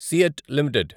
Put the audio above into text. seat limited